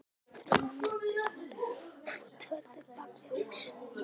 Á eftir voru myndirnar útfærðar bak við hús.